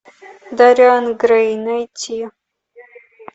дориан грей найти